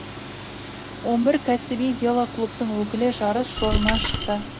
он бір кәсіби велоклубтың өкілі жарыс жолына шықты